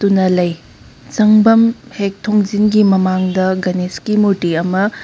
ꯆꯪꯚꯝ ꯍꯦꯛ ꯊꯣꯡꯖꯤꯟꯒꯤ ꯃꯃꯥꯡꯗ ꯒꯅꯦꯁ ꯒꯤ ꯃꯨꯔꯇꯤ ꯑꯃꯥ --